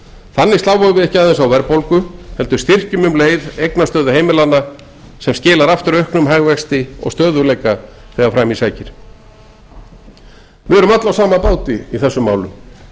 þannig sláum við ekki aðeins á verðbólgu heldur styrkjum um leið eignastöðu heimilanna sem skilar aftur auknum hagvexti og stöðugleika þegar fram í sækir við erum öll á sama báti í þessum málum